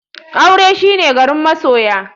Aure shine garin masoya.